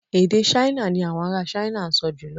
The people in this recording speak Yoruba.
Èdè Ṣáínà ni àwọn ará Ṣáínà ń sọ jùlọ